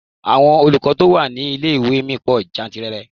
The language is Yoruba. Àwọn olùkọ́ tó wà ní ilé-ìwé mi pò jantìrẹrẹ.